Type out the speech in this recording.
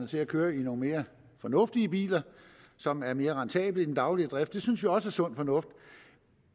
til at køre i nogle mere fornuftige biler som er mere rentable i den daglige drift det synes vi også er sund fornuft